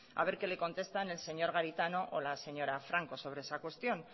a ver qué le contesta el señor garitano o la señora franco sobre esa cuestión